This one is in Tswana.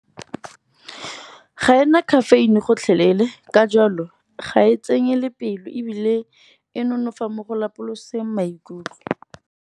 Ga ena caffeine gotlhelele, ka jalo ga e tsenye le pelo ebile e nonofa mo go lapoloseng maikutlo.